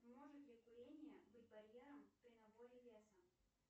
может ли курение быть барьером при наборе веса